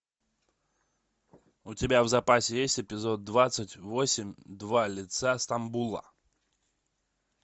у тебя в запасе есть эпизод двадцать восемь два лица стамбула